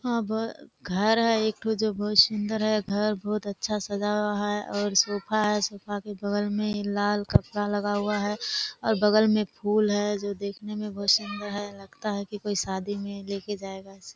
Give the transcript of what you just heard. अब घर है एक ठो जो बहुत सुन्दर है घर बहुत अच्छा सजा हुआ है और सोफे है सोफे के बगल में लाल कपड़ा लगा हुआ है और बगल में फूल है जो देखने बहुत सुन्दर लगता है लगता है कोई शादी में लेके जायेगा इसको।